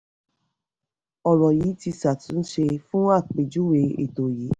ọ̀rọ̀ yìí ti ṣàtúnṣe fún àpèjúwe ètò yìí.